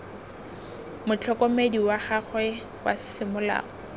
motlhokomedi wa gagwe wa semolao